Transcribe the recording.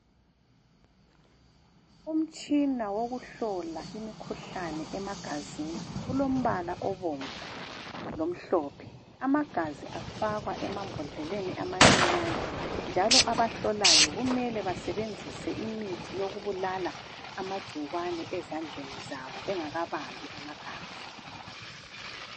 umtshina wokuhlola imkhuhlane ema gazini kulombala obomvu lomhlophe amagazi afakwa emambodleleni amancinyane njalo abahlolayo kumele basebenzise imithi yokubalala amagcikwane ezandleni zabo bengakabambi amagazi